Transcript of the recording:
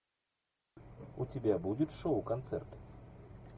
у тебя будет шоу концерт